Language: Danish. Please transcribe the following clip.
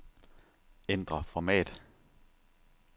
Ændr format.